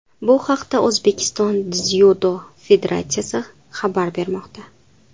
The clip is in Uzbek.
Bu haqda O‘zbekiston Dzyudo federatsiyasi xabar bermoqda .